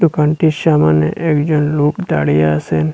দোকানটির সামোনে একজন লোক দাঁড়িয়ে আসেন।